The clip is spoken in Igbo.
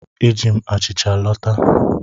Eji m achịcha lọta.